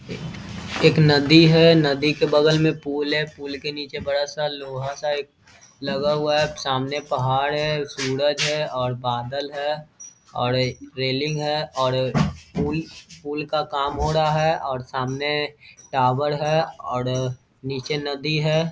एक नदी है। नदी के बगल में पुल है। पुल के नीचे बड़ा सा लोहा सा एक लगा हुआ है। सामने पहाड़ है। सूरज है और बादल है और एक रेलिंग है और अ पुल का काम हो रहा है और सामने टावर है और अ नीचे नदी है।